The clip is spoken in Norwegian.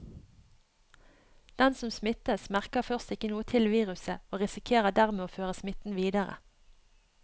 Den som smittes, merker først ikke noe til viruset og risikerer dermed å føre smitten videre.